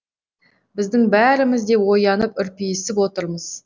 біздің бәріміз де оянып үрпиісіп отырмыз